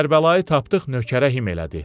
Kərbəlayı tapdıq nökərə him elədi.